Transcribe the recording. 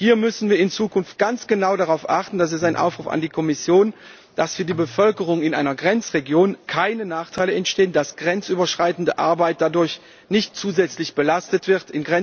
Hier müssen wir in Zukunft ganz genau darauf achten, das ist ein Aufruf an die Kommission, dass für die Bevölkerung in einer Grenzregion keine Nachteile entstehen, dass grenzüberschreitende Arbeit dadurch nicht zusätzlich belastet wird.